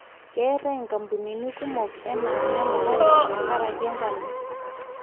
keetae kampunini kumok enaa nemukate tenkaraki enkano